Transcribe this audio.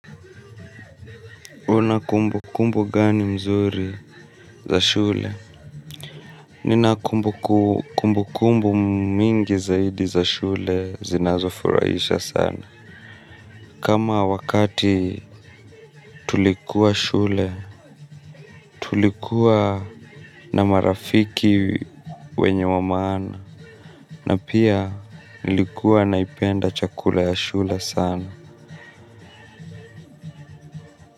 Una kumbu kumbu gani mzuri za shule? Nina kumbu kumbu mingi zaidi za shule zinazofuraisha sana. Kama wakati tulikuwa shule, tulikuwa na marafiki wenye wa maana, na pia nilikuwa naipenda chakula ya shule sana.